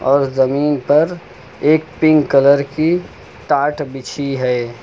और जमीन पर एक पिंक कलर की टाट बिछी है।